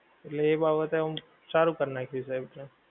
એટલે એ બાબતે હું સારું કરી નાખ્યું છેવટે.